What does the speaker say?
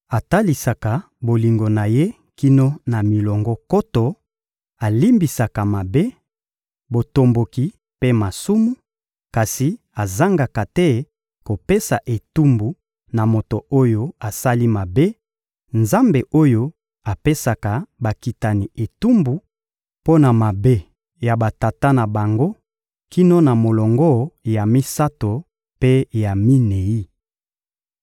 atalisaka bolingo na Ye kino na milongo nkoto, alimbisaka mabe, botomboki mpe masumu, kasi azangaka te kopesa etumbu na moto oyo asali mabe, Nzambe oyo apesaka bakitani etumbu mpo na mabe ya batata na bango kino na molongo ya misato mpe ya minei!